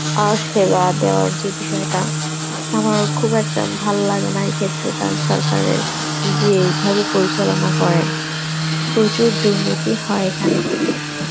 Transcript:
আর সেবা দেওয়ার যে বিষয়টা আমার খুব একটা ভাললাগে নাই ক্ষেত্রটা সরকারের যেভাবে পরিচালনা করে, প্রচুর দুর্নীতি হয় এখানে.